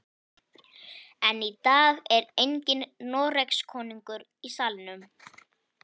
En í dag er enginn Noregskonungur í salnum.